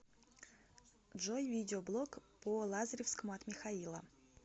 джой видеоблог по лазаревскому от михаила